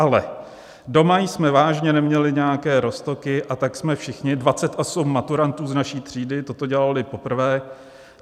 Ale doma jsme vážně neměli nějaké roztoky, a tak jsme všichni, 28 maturantů z naší třídy, toto dělali poprvé.